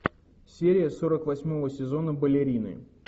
серия сорок восьмого сезона балерины